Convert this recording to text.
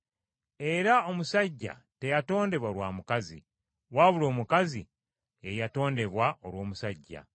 Era omusajja teyatondebwa lwa mukazi, wabula omukazi ye yatondebwa olw’omusajja.